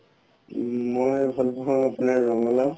মই ভাল পাও আপোনাৰ ৰঙা লাও